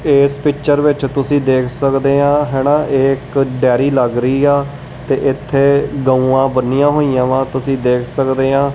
ਏਸ ਪਿਚਰ ਵਿੱਚ ਤੁਸੀਂ ਦੇਖ ਸਕਦੇ ਆ ਹੈਨਾ ਇਹ ਇੱਕ ਡੈਰੀ ਲੱਗ ਰਹੀ ਆ ਤੇ ਇੱਥੇ ਗਊਆਂ ਬੰਨੀਆਂ ਹੋਈਆਂ ਵਾ ਤੁਸੀਂ ਦੇਖ ਸਕਦੇ ਆ।